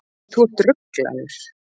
Þú ert ruglaður.